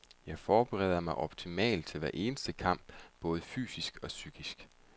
Jeg forbereder mig optimalt til hver eneste kamp, både fysisk og psykisk.